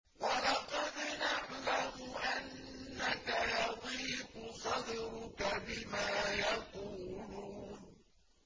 وَلَقَدْ نَعْلَمُ أَنَّكَ يَضِيقُ صَدْرُكَ بِمَا يَقُولُونَ